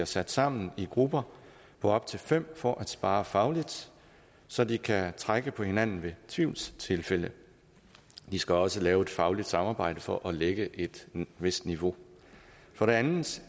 sat sammen i grupper på op til fem for at sparre fagligt så de kan trække på hinanden ved tvivlstilfælde de skal også lave et fagligt samarbejde for at lægge et vist niveau for det andet